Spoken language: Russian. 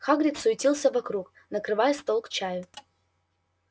хагрид суетился вокруг накрывая стол к чаю